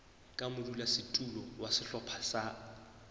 ka modulasetulo wa sehlopha sa